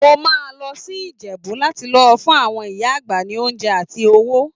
Mo máa lọ sí Ìjẹ̀bú láti lọ fún àwọn ìyá àgbà ní oúnjẹ àti owó.